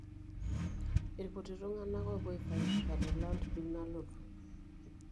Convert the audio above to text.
Ilkutik tung'anak oopuo aifaidika te land bill nalotu.